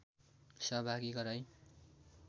सहभागी गराई